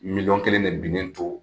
Miliyɔn kelen de binnen to